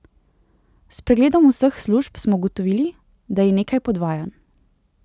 S pregledom vseh služb smo ugotovili, da je nekaj podvajanj.